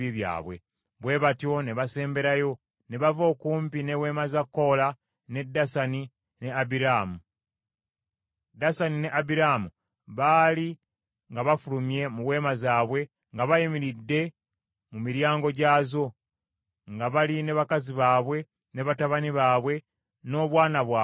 Bwe batyo ne basemberayo ne bava okumpi n’eweema za Koola, ne Dasani, ne Abiraamu. Dasani ne Abiraamu baali nga bafulumye mu weema zaabwe nga bayimiridde mu miryango gyazo, nga bali ne bakazi baabwe, ne batabani baabwe, n’obwana bwabwe obuto.